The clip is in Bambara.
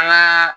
An ka